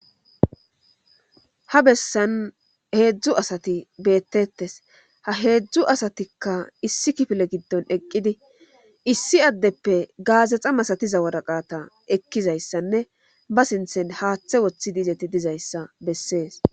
ha bessan heedzdzu asati beettettes ha heedzdzu asatikka issi kifile giddon eqqidi issi addeppe gaazexa masatiza wodaqata ekkizayssanne ba sinthen haaththe woththi diizeti dizayssa bessees